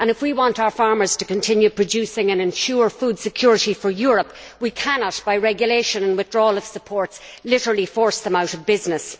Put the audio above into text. If we want our farmers to continue producing and ensure food security for Europe, we cannot, by regulation and withdrawal of support, literally force them out of business.